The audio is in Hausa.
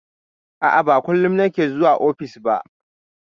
A'a, ba kullum nake zuwa ofis ba.